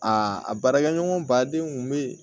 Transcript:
Aa a baarakɛɲɔgɔn baden kun bɛ yen